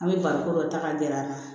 An bɛ barikon dɔ ta ka gɛrɛ an na